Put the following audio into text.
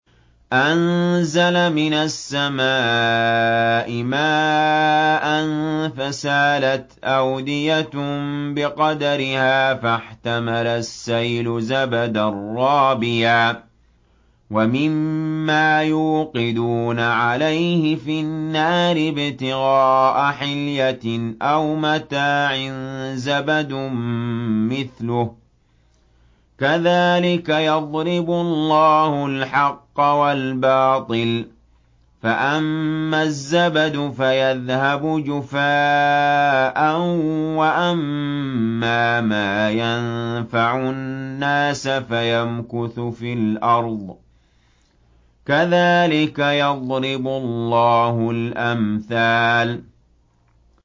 أَنزَلَ مِنَ السَّمَاءِ مَاءً فَسَالَتْ أَوْدِيَةٌ بِقَدَرِهَا فَاحْتَمَلَ السَّيْلُ زَبَدًا رَّابِيًا ۚ وَمِمَّا يُوقِدُونَ عَلَيْهِ فِي النَّارِ ابْتِغَاءَ حِلْيَةٍ أَوْ مَتَاعٍ زَبَدٌ مِّثْلُهُ ۚ كَذَٰلِكَ يَضْرِبُ اللَّهُ الْحَقَّ وَالْبَاطِلَ ۚ فَأَمَّا الزَّبَدُ فَيَذْهَبُ جُفَاءً ۖ وَأَمَّا مَا يَنفَعُ النَّاسَ فَيَمْكُثُ فِي الْأَرْضِ ۚ كَذَٰلِكَ يَضْرِبُ اللَّهُ الْأَمْثَالَ